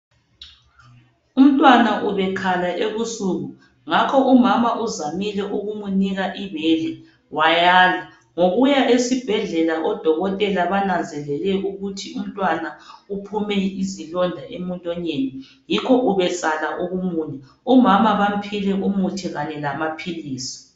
umuntwana ebekhala ebusuku ngakho umama uzamile ukumunika ibele wayala ngokuya esibhedlela odokotela bananzelele ukuthi umntwana uphume izilonda emlonyeni yikho ebesala ukumunya umama bamuphile umuthi lamaphilisi